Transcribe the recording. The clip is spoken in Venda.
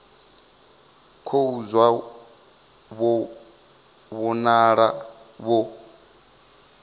khou zwa vho vhonala vho